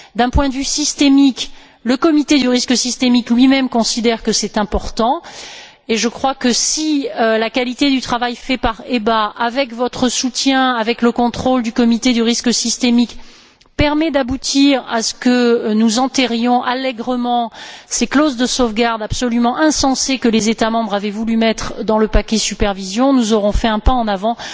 D'un point de vue systémique, le comité du risque systémique lui même considère que c'est important, et je crois que, si la qualité du travail fait par l'EBA avec votre soutien, avec le contrôle du comité du risque systémique, permet d'aboutir à ce que nous enterrions allègrement ces clauses de sauvegarde absolument insensées que les États membres avaient voulu mettre dans le paquet relatif à la supervision, nous aurons fait un pas en avant.